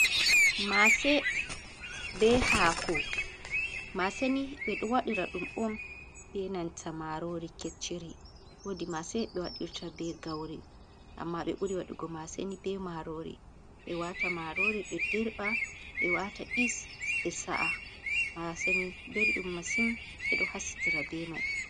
Mase be Haako: Mase ni ɓedo waɗira ɗum on be nanta marori kecchiri. Wodi mase ɓe waɗirta be gauri amma ɓe ɓuri waɗugo mase ni be marori. Ɓe wata marori ɓe dirɓa ɓe wata yeast, ɓe sa’a. Mase ni belɗum masin ɓedo hasitira be mai.